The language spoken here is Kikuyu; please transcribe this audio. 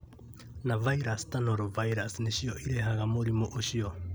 na virus ta Norovirus nĩ cio ĩrehaga mũrimũ ũcio.